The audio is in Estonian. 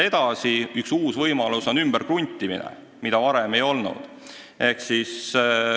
Edasi, üks uus võimalus on ümberkruntimine, mida varem ei olnud.